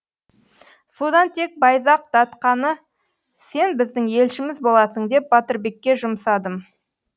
содан тек байзақ датқаны сен біздің елшіміз боласың деп батырбекке жұмсадым